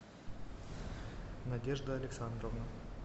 надежда александровна